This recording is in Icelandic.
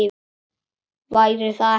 Væri það ekki gaman?